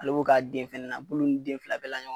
Ale b'o k'a den fɛnɛ na. B ulu ni den fila bɛɛ la ɲɔgɔn fɛ.